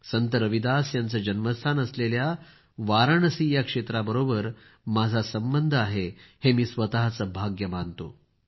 संत रविदास यांचं जन्मस्थान असलेल्या वाराणसी या क्षेत्राबरोबर माझा खूप मोठा संबंध आहे हे मी स्वतःचं भाग्य मानतो